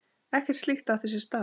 Ekkert slíkt átti sér stað.